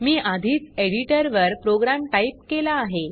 मी आधीच एडिटर वर program type केला आहे